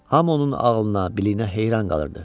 Hamı onun ağlına, biliyinə heyran qalırdı.